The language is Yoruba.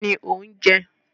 Kínni ò ń jẹ?